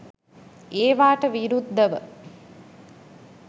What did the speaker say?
ඒවාට විරුද්ධව